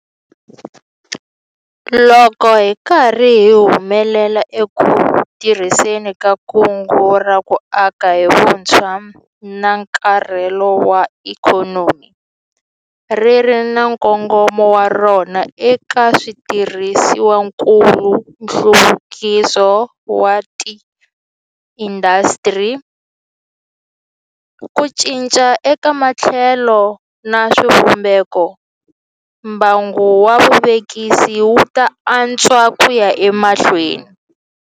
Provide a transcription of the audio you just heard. Loko hi ri karhi hi humelela eku tirhiseni ka Kungu ra ku Aka hi Vutshwa na nkarhelo wa Ikhonomi - ri ri na nkongomo wa rona eka switirhisiwakulu, nhluvukiso wa tiindasitiri, ku cinca eka matholelo na swivumbeko - mbangu wa vuvekisi wu ta antswa ku ya emahlweni.